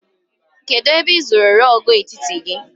Kedụ ebe ị zụrụ rọọgụ etiti gị?